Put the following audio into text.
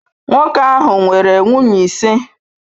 Nwoke ahụ nwere nwunye ise.